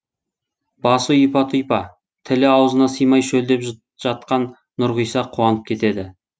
басы ұйпа тұйпа тілі аузына сыймай шөлдеп жатқан нұрғиса қуанып кетеді